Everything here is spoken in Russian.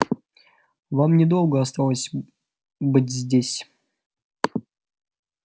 вам недолго осталось быть здесь